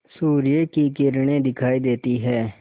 सूर्य की किरणें दिखाई देती हैं